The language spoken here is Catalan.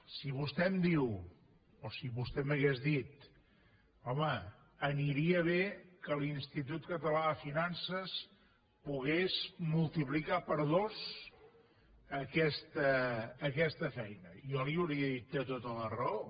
si vostè em diu o si vostè m’hagués dit home aniria bé que l’institut català de finances pogués multiplicar per dos aquesta feina jo li hauria dit té tota la raó